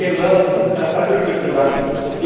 Ik moet de heer Welle uitdrukkelijk bedanken.